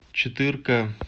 четырка